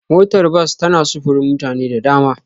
Motar bas tana sufurin mutane da dama.